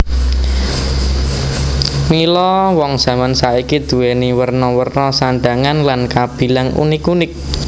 Mila wong jaman saiki duweni werna werna sandhangan lan kabilang unik unik